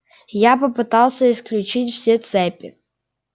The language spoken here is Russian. я попытался исключить все цепи